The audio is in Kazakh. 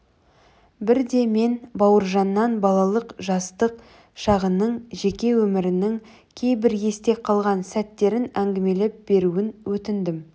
бірде мен бауыржаннан балалық жастық шағының жеке өмірінің кейбір есте қалған сәттерін әңгімелеп беруін өтіндім